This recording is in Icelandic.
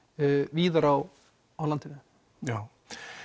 víðar á á landinu já